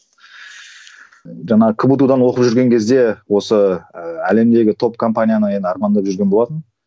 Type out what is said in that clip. жаңа кбту дан оқып жүрген кезде осы ііі әлемдегі топ компанияны енді армандап жүрген болатынмын